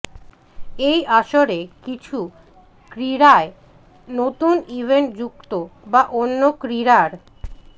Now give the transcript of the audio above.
এই আসরে কিছু ক্রীড়ায় নতুন ইভেন্ট যুক্ত বা অন্য ক্রীড়ার